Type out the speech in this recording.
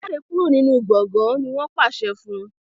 jáde kúrò nínú gboôgan! ní wón pàṣẹ fún.